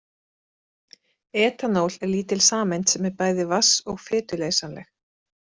Etanól er lítil sameind sem er bæði vatns- og fituleysanleg.